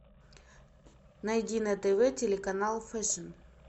найди на тв телеканал фэшн